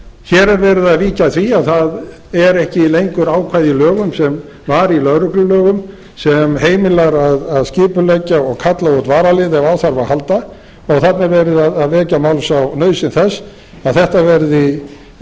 hér er verið að víkja að því það það er ekki lengur ákvæði í lögum sem var í lögreglulögum sem heimilar að skipuleggja og kalla út varalið ef á þarf að halda og þarna er verið að vekja máls á nauðsyn þess að þetta verði